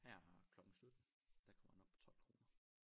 Her klokken 17 der kommer den op på 12 kroner